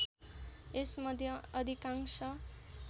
यस मध्ये अधिकांश